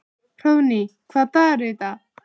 Hróðný, hvaða dagur er í dag?